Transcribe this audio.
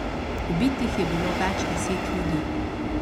Ubitih je bilo več deset ljudi.